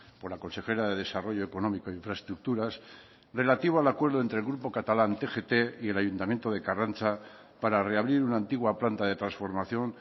por la consejera de desarrollo económico e infraestructuras relativo al acuerdo entre el grupo catalán tgt y el ayuntamiento de karrantza para reabrir una antigua planta de transformación